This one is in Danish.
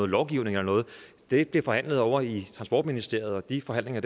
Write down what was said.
lovgivning eller noget det bliver forhandlet ovre i transportministeriet og de forhandlinger